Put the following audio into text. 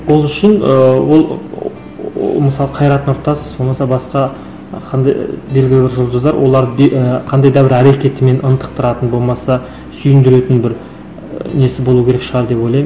ол үшін ыыы ол мысалы қайрат нұртас болмаса басқа қандай белгілі бір жұлдыздар олар і қандай да бір әрекетімен ынтықтыратын болмаса сүйіндіретін бір ы несі болу керек шығар деп ойлаймын